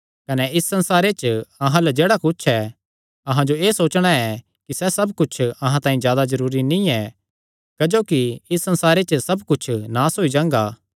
कने इस संसारे च अहां अल्ल जेह्ड़ा कुच्छ ऐ अहां जो एह़ सोचणा कि सैह़ सब कुच्छ अहां तांई जादा जरूरी नीं ऐ क्जोकि इस संसारे च सब कुच्छ नास होई जांगा